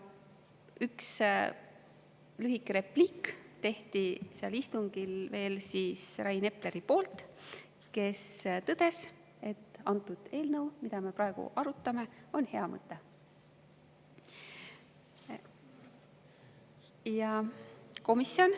Ühe lühikese repliigi tegi sel istungil veel Rain Epler, kes tõdes, et eelnõu, mida me praegu arutame, on hea mõte.